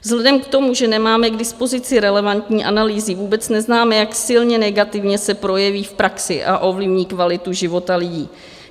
Vzhledem k tomu, že nemáme k dispozici relevantní analýzy, vůbec neznáme, jak silně negativně se projeví v praxi a ovlivní kvalitu života lidí.